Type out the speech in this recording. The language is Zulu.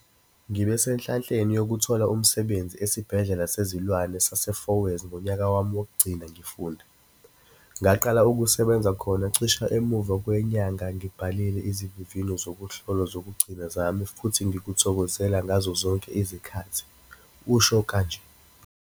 "Ngibe senhlanhleni yokuthola umsebenzi Esibhedlela Sezilwane sase-Fourways ngonyaka wami wokugcina ngifunda. Ngaqala ukusebenza khona cishe emuva kwenyanga ngibhale izivivinyo zokuhlolwa zokugcina zami futhi ngikuthokozela ngazo zonke izikhathi," usho kanje.